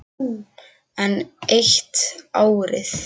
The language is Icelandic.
Enn eitt árið.